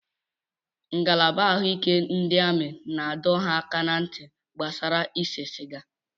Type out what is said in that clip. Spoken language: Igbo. Ngalaba ahụike ndị amị na-adọ ha aka ná ntị gbasara ise sịga.